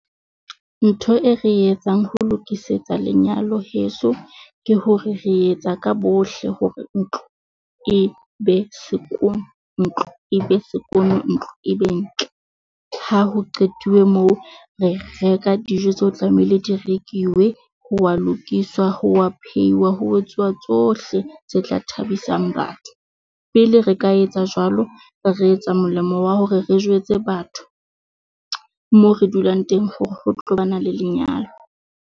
Ntho e re etsang ho lokisetsa lenyalo heso, ke hore re etsa ka bohle hore ntlo e be sekono, ntlo e be sekono ntlo e be ntle. Ha ho qetuwe moo re reka dijo tse o tlamehile di rekiwe ho wa lokiswa ho wa phehiwa. Ho etsuwa tsohle tse tla thabisang batho pele re ka etsa jwalo. Re etsa molemo wa hore re jwetse batho moo re dulang teng hore ho tlo ba na le lenyalo.